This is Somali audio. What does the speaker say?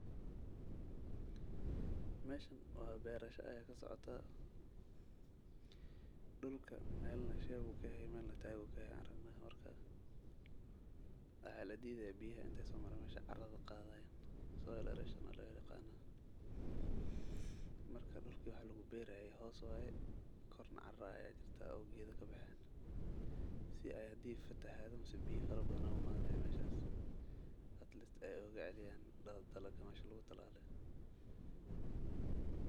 Meeshan waa beerasha ayaa ka socota dhulka, meel na shiibku ka ah iyo meelna taagu ka ah aragnaha. Warka waxaa la diiday biya inta soo maray meesha carrada qaaday [soil errosion cs] loo eeg qana. Marka dhulki wax lagu beeray hoos waay kor na caara ay ajirta awgeedka bixiin si ay hadii fatahaadu masu biya farabadano ee mano meeshaas atleast ay oga ceeliyan dhalo talo ka maeesha ta la leen.